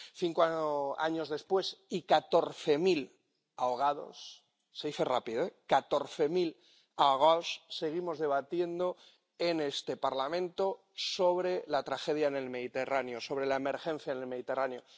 Cinco años después y catorce mil ahogados —se dice rápido catorce mil ahogados—, seguimos debatiendo en este Parlamento sobre la tragedia en el Mediterráneo, sobre la emergencia en el Mediterráneo.